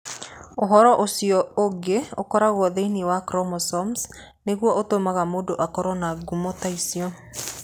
Ũhoro ũcio ũngĩ ũkoragwo thĩinĩ wa chromosome nĩguo ũtũmaga mũndũ akorũo na ngumo ta icio.